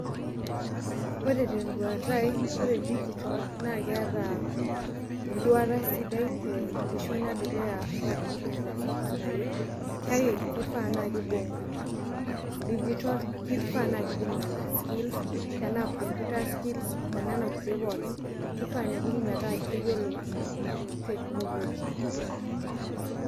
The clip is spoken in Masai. Ore tenduata aai ore digital na keeta enduata sidai tenkishon edukuya ormuran le secondary kake kifaa naa kibung' digital, kifaa na kibung' nona skills tanaa computer skills onona kulie pookin. Kifaa pibung' metaa keyiolo technology.